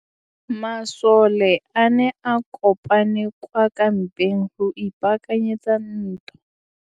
Masole a ne a kopane kwa kampeng go ipaakanyetsa ntwa.